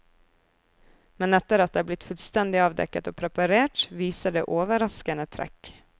Men etter at det er blitt fullstendig avdekket og preparert, viser det overraskende trekk.